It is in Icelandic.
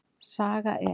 Saga er.